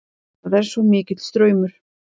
Það er svo mikill straumur.